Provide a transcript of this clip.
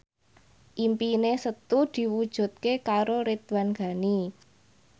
impine Setu diwujudke karo Ridwan Ghani